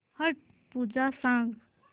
छट पूजा सांग